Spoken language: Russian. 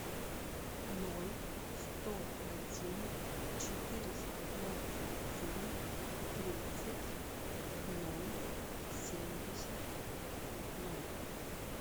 ноль сто один четыреста двадцать семь тридцать ноль семьдесят ноль